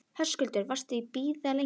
Höskuldur: Varstu búinn að bíða lengi?